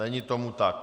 Není tomu tak.